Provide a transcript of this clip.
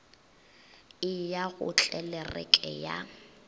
e ya go tlelereke ya